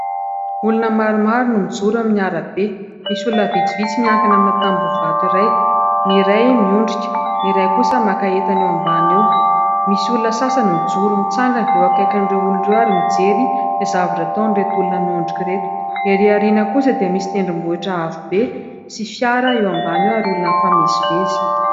Olona maromaro no mijoro amin'ny arabe. Misy olona vitsivitsy miankina amina tamboho vato iray, ny iray miondrika, ny iray kosa maka entana eo ambany eo. Misy olona sasany mijoro mitsangana eo akaikin'ireo olon'ireo ary mijery izay zavatra ataon' ireto olona miondrika ireto. Ery aoriana kosa dia misy tendrombohitra avo be sy fiara eo ambany eo ary olona mifamezivezy.